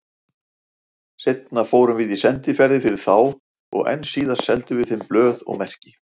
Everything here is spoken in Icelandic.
Seinna fórum við sendiferðir fyrir þá og enn síðar seldum við þeim blöð og merki.